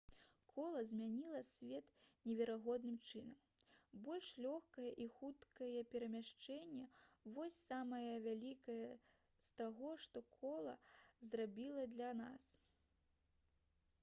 кола змяніла свет неверагодным чынам больш лёгкае і хуткае перамяшчэнне вось самае вялікае з таго што кола зрабіла для нас